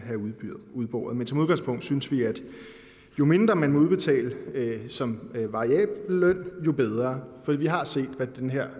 udboret men som udgangspunkt synes vi at jo mindre man udbetaler som variabel løn jo bedre for vi har set hvad den her